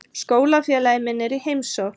Skólafélagi minn er í heimsókn.